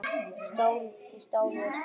Stál í stál eða slappt?